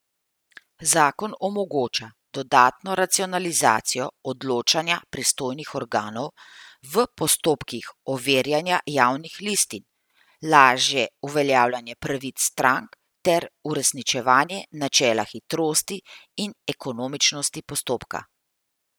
Zakon omogoča dodatno racionalizacijo odločanja pristojnih organov v postopkih overjanja javnih listin, lažje uveljavljanje pravic strank ter uresničevanje načela hitrosti in ekonomičnosti postopka.